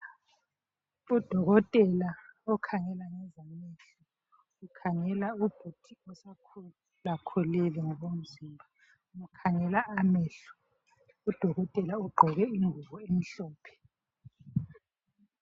Udokotela okhangela ngezamehlo, ukhangela ubhudi osekhulakhulile ngokomzimba, umkhangela amehlo. Udokotela ugqoke ingubo emhlophe.